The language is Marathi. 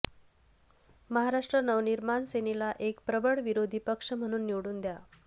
महाराष्ट्र नवनिर्माण सेनेला एक प्रबळ विरोधी पक्ष म्हणून निवडून द्या